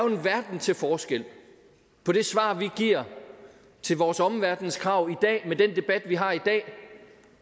en verden til forskel på det svar vi giver til vores omverdens krav i dag med den debat vi har i dag